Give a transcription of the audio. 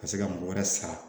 Ka se ka mɔgɔ wɛrɛ sara